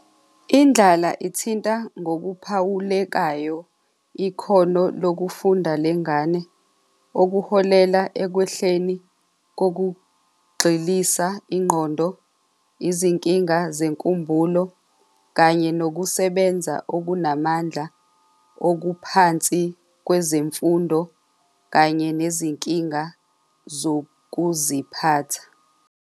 Indlala ithinta ngokuphawulekayo ikhono lokufunda lengane okuholela ekwehluni kokugxilisa ingqondo, izinkinga zenkumbulo, kanye nokusebenza okunamandla okuphansi kwezemfundo kanye nezinkinga zokuziphatha.